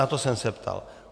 Na to jsem se ptal.